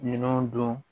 Minɛnw don